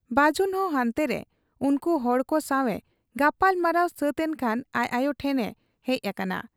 ᱵᱟᱹᱡᱩᱱᱦᱚᱸ ᱦᱟᱱᱛᱮᱨᱮ ᱩᱱᱠᱩ ᱦᱚᱲᱠᱚ ᱥᱟᱶ ᱮ ᱜᱟᱯᱟᱞᱢᱟᱨᱟᱣ ᱥᱟᱹᱛ ᱮᱱᱠᱷᱟᱱ ᱟᱡ ᱟᱭᱚ ᱴᱷᱮᱫ ᱮ ᱦᱮᱡ ᱟᱠᱟᱱᱟ ᱾